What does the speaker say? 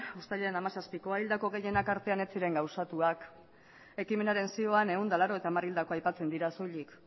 uztailaren hamazazpikoa hildako gehienak artean ez ziren gauzatuak ekimenaren zioan ehun eta laurogeita hamar hildako aipatzen dira soilik